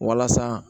Walasa